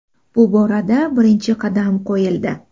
Bu borada birinchi qadam qo‘yildi.